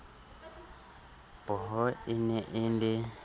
pooho e ne e le